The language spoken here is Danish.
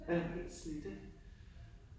Ja, helt slidt ik